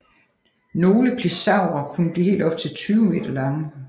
Nogle pliosaurer kunne blive helt op til 20 meter lange